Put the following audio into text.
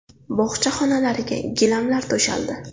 Bog‘cha xonalariga gilamlar to‘shaldi.